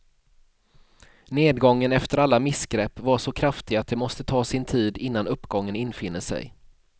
Nedgången efter alla missgrepp var så kraftig att det måste ta sin tid innan uppgången infinner sig.